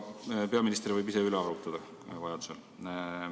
Peaminister võib vajaduse korral ise üle arvutada.